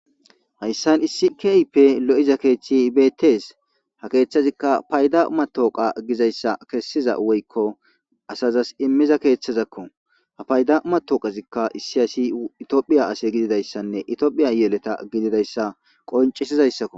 Haysan issi kehipe lo'iza keethi beetes ha keethezika payda Giza matoqa kesiza eoyko asazas immiza sohoko ha payda matoqazika issi asi tophiya ase gididaysane tophiya yeleta hididaysa qoncisizaysako